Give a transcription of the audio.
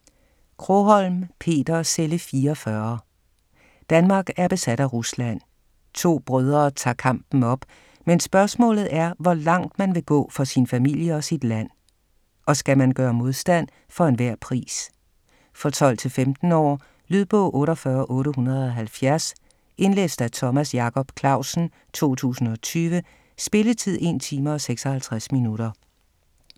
Krogholm, Peter: Celle 44 Danmark er besat af Rusland. To brødre tager kampen op. Men spørgsmålet er, hvor langt man vil gå for sin familie og sit land. Og skal man gøre modstand for enhver pris? For 12-15 år. Lydbog 48870 Indlæst af Thomas Jacob Clausen, 2020. Spilletid: 1 time, 56 minutter.